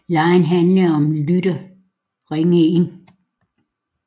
Legen handlede om at en lytter ringede ind